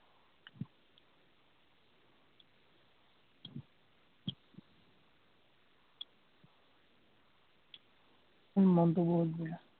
মোৰ মনটো বৰ বেয়া।